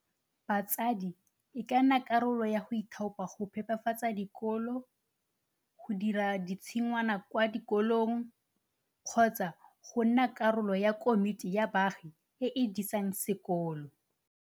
Batsadi e ka nna karolo ya go ithaopa go phepafatsa dikolo, go dira ditshingwana kwa dikolong kgotsa ya nna karolo ya komiti ya baagi e e disang sekolo.